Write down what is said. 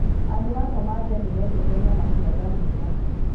Andũ a Somalia nĩ mendete nyama cia ngamĩĩra.